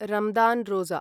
रामदान् रोजा